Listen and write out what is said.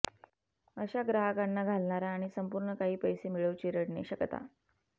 अशा ग्राहकांना घालणारा आणि संपूर्ण काही पैसे मिळवू चिरडणे शकता